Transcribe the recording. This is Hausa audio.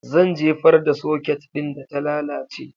Zan jefar da soket ɗin da ta lalace